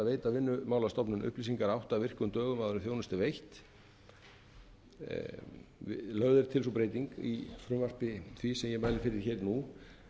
veita vinnumálastofnun upplýsingar átta virkum dögum áður en þjónusta er veitt lögð er til sú breyting í frumvarpi því sem ég mæli fyrir nú